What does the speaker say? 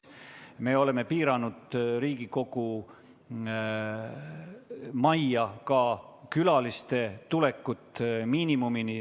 Me oleme piiranud ka Riigikogu majja tulevate külaliste arvu, viinud selle miinimumini.